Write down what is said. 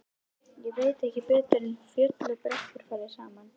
Ég veit ekki betur en fjöll og brekkur fari saman.